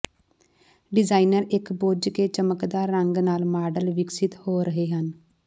designer ਇੱਕ ਬੁੱਝ ਕੇ ਚਮਕਦਾਰ ਰੰਗ ਨਾਲ ਮਾਡਲ ਵਿਕਸਿਤ ਹੋ ਰਹੇ ਹਨ